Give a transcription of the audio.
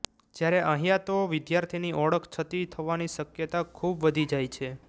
જ્યારે અહીયા તો વિદ્યાર્થીની ઓળખ છતી થવાની શક્યતા ખુબ વધી જાય છે